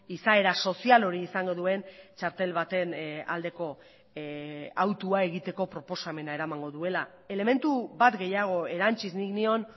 izaera sozial hori izango duen txartel baten aldeko autua egiteko proposamena eramango duela elementu bat gehiago erantsiz nik nion